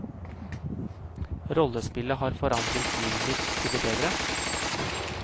Rollespillet har forandret livet mitt til det bedre.